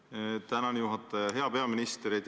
Te teetegi tööd südamega ja need küsimused ongi õiged.